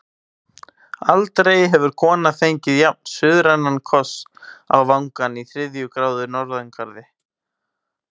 Aldrei hefur kona fengið jafn-suðrænan koss á vangann í þriðju gráðu norðangarði.